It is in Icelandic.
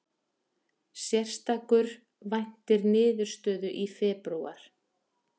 Sérstakur væntir niðurstöðu í febrúar